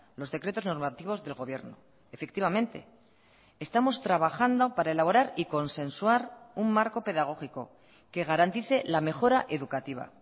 los decretos normativos del gobierno efectivamente estamos trabajando para elaborar y consensuar un marco pedagógico que garantice la mejora educativa